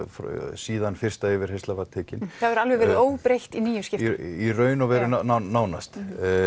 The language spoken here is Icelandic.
síðan fyrsta yfirheyrslan var tekin það hefur alveg verið óbreytt í níu skipti í raun og veru nánast